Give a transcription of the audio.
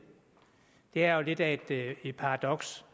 er jo lidt af et paradoks